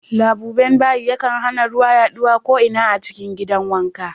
Labuben bayi yakan hana ruwa yaɗuwa ko'ina a cikin gidan wanka.